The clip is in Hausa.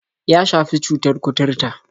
Ya shafi cutar kuturta.